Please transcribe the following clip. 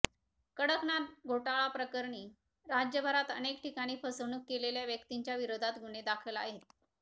कडकनाथ घोटाळाप्रकरणी राज्यभरात अनेक ठिकाणी फसवणूक केलेल्या व्यक्तींच्या विरोधात गुन्हे दाखल आहेत